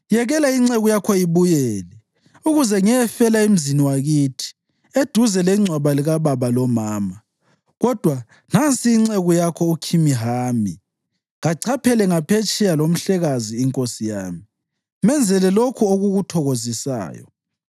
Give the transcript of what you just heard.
Yekela inceku yakho ibuyele, ukuze ngiyefela emzini wakithi eduze lengcwaba likababa lomama. Kodwa nansi inceku yakho uKhimihami. Kachaphele ngaphetsheya lomhlekazi inkosi yami. Menzele lokho okukuthokozisayo.”